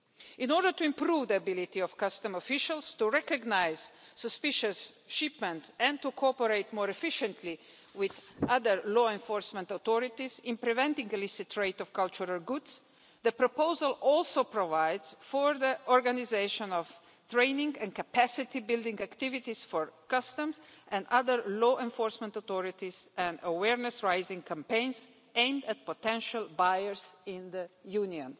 In order to improve the ability of customs officials to recognise suspicious shipments and to cooperate more efficiently with other law enforcement authorities in preventing illicit trade in cultural goods, the proposal also provides for the organisation of training and capacity-building activities for customs and other law enforcement authorities and awareness raising campaigns aimed at potential buyers in the Union.